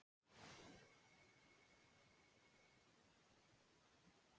Í kvöld eru Þróttur Vogum, Kári og Árborg búin að tryggja sig áfram.